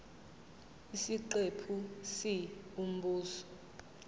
isiqephu c umbuzo